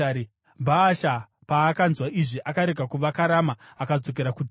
Bhaasha paakanzwa izvi akaregera kuvaka Rama akadzokera kuTiza.